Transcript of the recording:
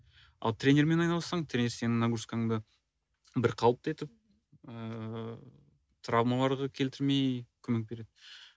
ал тренермен айналыссаң тренер сенің нагрузкаңды бірқалыпты етіп ыыы травмаларға келтірмей көмек береді